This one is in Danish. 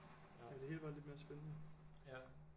Ja det hele var lidt mere spændende